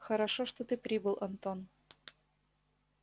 хорошо что ты прибыл антон